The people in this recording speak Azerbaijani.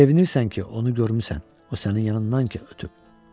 Sevinirsən ki, onu görmüsən, o sənin yanından ki ötüb.